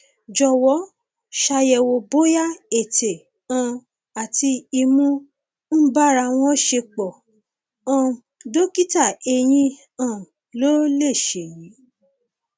jọwọ ṣàyẹwò bóyá ètè um àti imú ń bára wọn ṣepọ um dókítà eyín um ló lè ṣe èyí